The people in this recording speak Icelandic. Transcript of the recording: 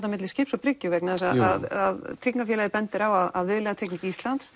á milli skipts og bryggju vegna þess að tryggingafélagið bendir á að viðlagatrygging Íslands